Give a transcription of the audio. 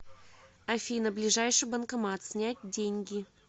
афина ближайший банкомат снять деньги